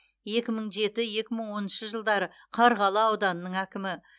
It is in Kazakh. екі мың жеті екі мың оныншы жылдары қарғалы ауданының әкімі